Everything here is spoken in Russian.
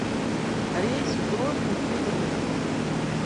рейс в грозный из рудни